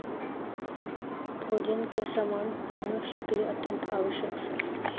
ਬੋਜਨ ਕੇ ਸਮਾਨ ਮਨਊਯਸ ਕੇ ਲੀਏ ਅਤਿਅੰਤ ਅਵੱਸਕ ਸੀ